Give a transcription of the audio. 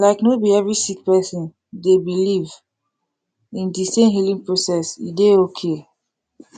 like no bi every sik person dey biliv in di sem healing process e dey okay